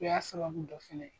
O y'a sababu dɔ fɛnɛ ye.